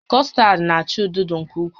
Custard na-acha odo odo nke ukwuu